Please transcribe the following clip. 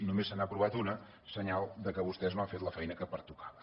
només se n’ha aprovat una senyal que vostès no han fet la feina que pertocava